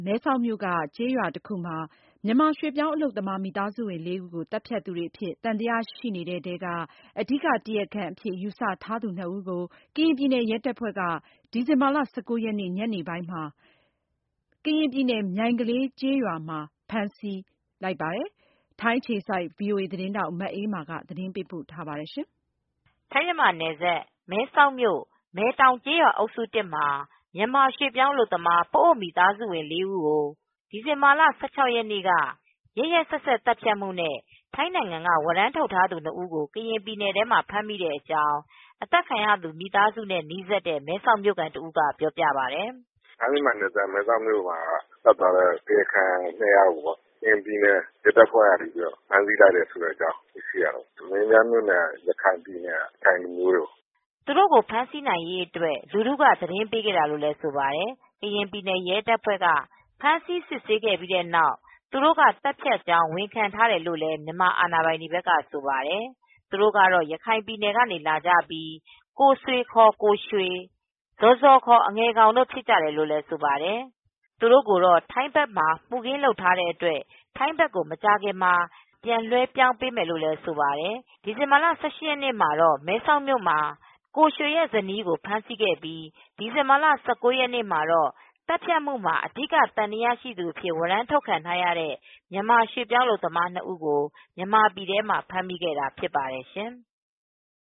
မဲဆောက်မြို့က ကျေးရွာတခုမှာ မြန်မာရွှေ့ပြောင်း အလုပ်သမား မိသားစုဝင်လေးဦးကို သတ်ဖြတ်သူတွေအဖြစ် သံသယရှိနေတဲ့ထဲက အဓိကတရားခံအဖြစ် ယူဆထားသူ ၂ဦးကို ကရင်ပြည်နယ် ရဲတပ်ဖွဲ့ဖမ်းဆီးလိုက်ပါတယ်။ ဒီဇင်ဘာလ ၁၉ ရက်နေ့ ညနေမှာ ကရင်ပြည်နယ် မြိုင်ကလေးကျေးရွားမှာ ဖမ်းဆီး မိခဲ့တာပါ။ အပြည့်အစုံကိုတော့ ထိုင်းအခြေစိုက် ဗွီအိုအေမြန်မာပိုင်းသတင်းထောက် မအေးအေးမာကသတင်းပေးပို့ထားပါတယ်။ ထိုင်း-မြန်မာနယ်စပ် မဲဆောက်မြို့၊ မဲတောင်ကျေးရွာအုပ်စု မှာ မြန်မာရွှေ့ ပြောင်းအလုပ်သမားတွေဖြစ်တဲ့ ပအို့ဝ် မိသားစုဝင်လေးဦးကို ဒီဇင်ဘာလ ရက်နေ့က ရက်ရက်စက်စက် သတ်ဖြတ်မှုနဲ့ ထိုင်းနိုင်ငံက ဝရမ်းထုတ်ထားသူ ၂ဦးကို ကရင်ပြည်နယ်မှာ ဖမ်းမိတဲ့အကြောင်း အသတ်ခံရသူ မိသားစုနဲ့ နီးစပ်တဲ့မဲဆောက်မြို့ခံ တဦးက ပြောပြပါတယ်။ “ထိုင်းမြန်မာနယ်စပ် မဲဆောက်မြို့မှာသတ်သွားတဲ့ တရားခံ ၂ယောက်ပေါ့၊ ကရင်ပြည်နယ် ရဲတပ်ဖဲ့ွက ဖမ်းဆီးလိုက်တယ်ဆိုတာ သိလိုက်ရတယ်။ မင်းပြားမြို့နယ်က ရခိုင်လူမျိုးတွေပေါ့” သူတို့ကို ဖမ်းဆီးနိုင်ရေးအတွက် လူထုက သတင်းပေးခဲ့တာလို့ဆိုပါတယ်။ ကရင်ပြည်နယ် ရဲတပ်ဖဲ့ ွက ဖမ်းဆီး စစ်ဆေးပြီးတဲ့နောက် သူတို့က သတ်ဖြတ်ကြောင်း ဝန်ခံထားတယ်လို့လည်း မြန်မာအာဏာပိုင်တွေက ပြောပါတယ်။ သူတို့ကတော့ ရခိုင်ပြည်နယ်က လာကြပြီး ကိုဆွေ ကိုရွှေ၊ ဇော်ဇော် အငယ်ကောင်တို့ ဖြစ်ကြတယ်လို့ဆိုပါတယ်။ သူတို့ကိုတော့ ထိုင်းဘက်မှာ ပြစ်မှုကျုးလွန်ထားတဲ့အတွက် ထိုင်းဘက်ကို မကြာခင်မှာ ပြန်လွှွဲပေးမယ်လို့ ဆိုပါတယ်။ ဒီဇင်ဘာလ ရက်နေ့ မှာတော့ မဲဆောက်မြို့မှာ တရားခံအဖြစ် သံသယရှိသူကိုရွှေရဲ့ဇနီးကို ဖမ်းဆီးခဲ့ပြီး ဒီဇင်ဘာလ ၁၉ ရက်နေ့ မှာတော့ သတ်ဖြတ်မှုမှာ အဓိက သံသယရှိသူအဖြစ် ဝရမ်း ထုတ်ခံထားရတဲ့ မြန်မာရွှေ့ ပြောင်းအလုပ်သမား ၂ဦးကို မြန်မာပြည်ထဲမှာ ဖမ်းမိခဲ့တာဖြစ်ပါတယ်ရှင်။